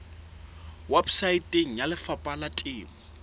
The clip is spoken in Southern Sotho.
weposaeteng ya lefapha la temo